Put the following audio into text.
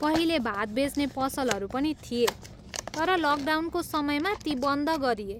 पहिले भात बेच्ने पसलहरू पनि थिए, तर लकडाउनको समयमा ती बन्द गरिए।